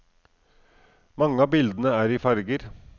Mange av bildene er i farger.